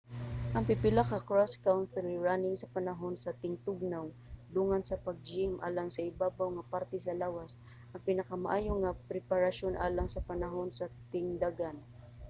ang pipila ka cross country running sa panahon sa tingtugnaw dungan sa pag-gym alang sa ibabaw nga parte sa lawas ang pinakamaayo nga preparasyon alang sa panahon sa tingdagan